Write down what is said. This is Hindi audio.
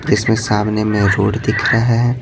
जिसमें सामने में रोड दिख रहा है।